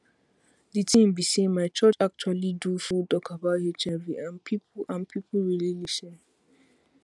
the thing be saymy church actually do full talk about hiv and people and people really lis ten